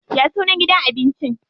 Ya sunan gidan abinci?